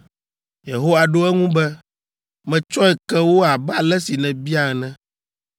Yehowa ɖo eŋu be, “Metsɔe ke wo abe ale si nèbia ene.